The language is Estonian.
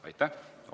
Aitäh!